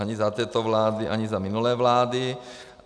Ani za této vlády, ani za minulé vlády.